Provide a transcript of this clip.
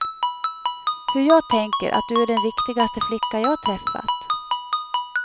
Hur jag tänker att du är den riktigaste flicka jag träffat.